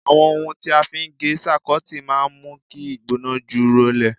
Àwọn ohun tí a fi ń gé sáíkọ́ọ̀tì máa ń mú kí ìgbóná jù rọlẹ̀